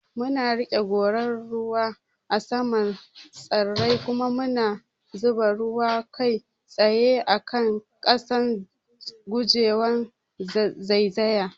Muna riƙe gorar ruwa a saman tsirrai kuma mu zuba ruwa kai tsaye a kan ƙasa, guje wa zaizaya.